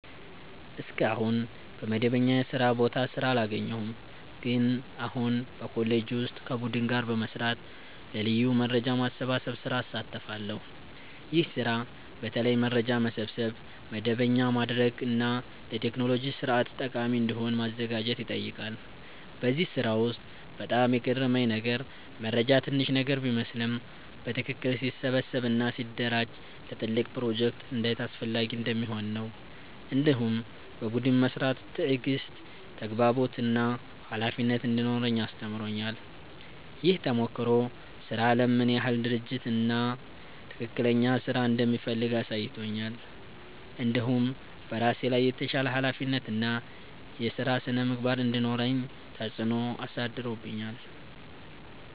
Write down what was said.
እስካሁን በመደበኛ የስራ ቦታ ስራ አላገኘሁም፣ ግን አሁን በኮሌጄ ውስጥ ከቡድን ጋር በመስራት ለ ልዩ የመረጃ ማሰባሰብ ስራ እሳተፋለሁ። ይህ ስራ በተለይ መረጃ መሰብሰብ፣ መደበኛ ማድረግ እና ለቴክኖሎጂ ስርዓት ጠቃሚ እንዲሆን ማዘጋጀት ይጠይቃል። በዚህ ስራ ውስጥ በጣም የገረመኝ ነገር መረጃ ትንሽ ነገር ቢመስልም በትክክል ሲሰበሰብ እና ሲደራጀ ለትልቅ ፕሮጀክት እንዴት አስፈላጊ እንደሚሆን ነው። እንዲሁም በቡድን መስራት ትዕግሥት፣ ተግባቦት እና ኃላፊነት እንዲኖረኝ አስተምሮኛል። ይህ ተሞክሮ ስራ አለም ምን ያህል ድርጅት እና ትክክለኛ ስራ እንደሚፈልግ አሳይቶኛል። እንዲሁም በራሴ ላይ የተሻለ ኃላፊነት እና የስራ ስነ-ምግባር እንዲኖረኝ ተጽዕኖ አሳድሮብኛል።